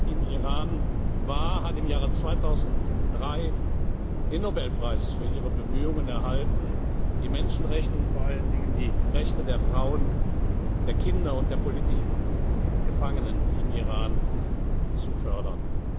im Iran war, hat im Jahre 2003 den Nobelpreis für ihre Bemühungen erhalten, die Menschenrechte und vor allen Dingen die Rechte der Frauen, der Kinder und der politischen Gefangenen im Iran zu fördern.